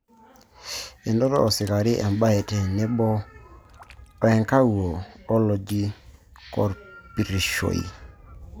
Enoto osikari embae tenebo o enkawuo oloji korpurrishoi